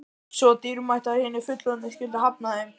Svo dýrmætt að hinir fullorðnu skyldu hafna þeim.